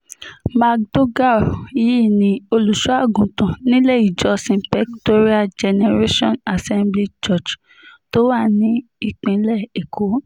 mcdougal yìí ní olùṣọ́àgùntàn nílé ìjọsìn pectorial generation assembly church tó wà nípìnlẹ̀ èkó